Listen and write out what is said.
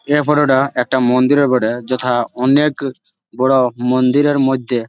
এই ফটোটা একটা মন্দিরের বটে যথা অনেক বড় মন্দিরের মধ্যে।